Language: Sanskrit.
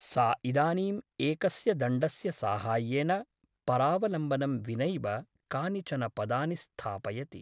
सा इदानीम् एकस्य दण्डस्य साहाय्येन परावलम्बनं विनैव कानिचन पदानि स्थापयति ।